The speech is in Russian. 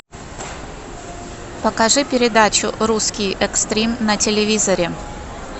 покажи передачу русский экстрим на телевизоре